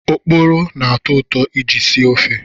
Oporo na-atọ ụtọ iji sie ofe.